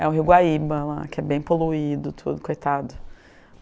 É o rio Guaíba lá, que é bem poluído tudo, coitado.